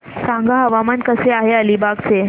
सांगा हवामान कसे आहे अलिबाग चे